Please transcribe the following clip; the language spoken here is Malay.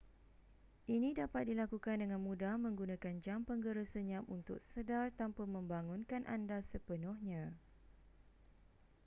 ini dapat dilakukan dengan mudah menggunakan jam penggera senyap untuk sedar tanpa membangunkan anda sepenuhnya